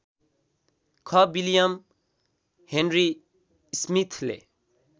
ख William Henry स्मिथले